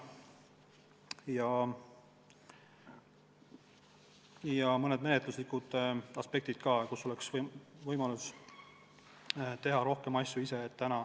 Siin on mõned menetluslikud aspektid ka, võiks olla võimalus teha rohkem asju ise.